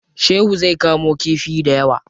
Shehu zai kamo kifi dayawa.